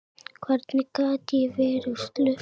Hvernig gat ég verið slösuð?